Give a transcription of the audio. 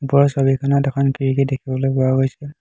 ওপৰৰ ছবিখনত এখন খিৰিকী দেখিবলৈ পোৱা গৈছে।